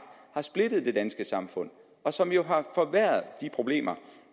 har splittet det danske samfund og som jo har forværret de problemer